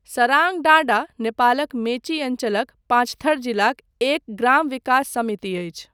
सराङडाँडा नेपालक मेची अञ्चलक पाँचथर जिलाक एक ग्राम विकास समिति अछि।